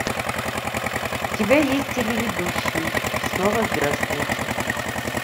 у тебя есть телеведущий и снова здравствуйте